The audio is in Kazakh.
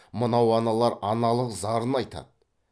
мынау аналар аналық зарын айтады